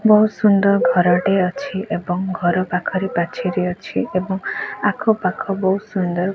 ବହୁତ୍ ସୁନ୍ଦର୍ ଘର ଟିଏ ଅଛି ଏବଂ ଘର ପାଖରେ ପାଚେରୀ ଅଛି ଏବଂ ଆଖପାଖ ବହୁତ୍ ସୁନ୍ଦର୍ --